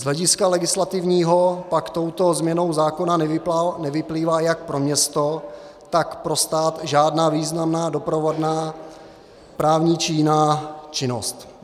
Z hlediska legislativního pak touto změnou zákona nevyplývá jak pro město, tak pro stát žádná významná doprovodná právní či jiná činnost.